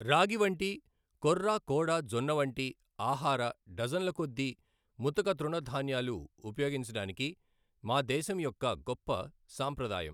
రాగి వంటి, కొర్రా, కోడా, జొన్న వంటి ఆహార డజన్ల కొద్దీ ముతక తృణధాన్యాలు ఉపయోగించడానికి మా దేశం యొక్క గొప్ప సాంప్రదాయం.